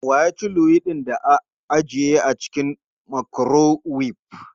Wa ya ci luwaiɗin da ajiye a cikin makurowef?